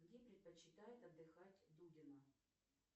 где предпочитает отдыхать дудина